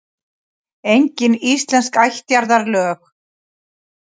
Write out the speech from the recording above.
Engin íslensk ættjarðarlög.